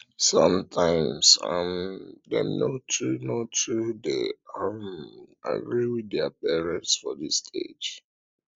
sometimes um dem no too no too de um agree with their um parents for dis stage